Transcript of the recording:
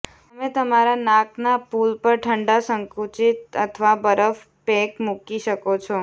તમે તમારા નાકના પુલ પર ઠંડા સંકુચિત અથવા બરફ પેક મૂકી શકો છો